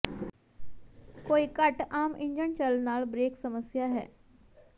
ਕੋਈ ਘੱਟ ਆਮ ਇੰਜਣ ਚੱਲ ਨਾਲ ਬਰੇਕ ਸਮੱਸਿਆ ਹੈ